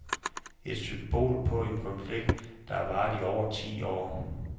Et symbol på en konflikt, der har varet i over ti år.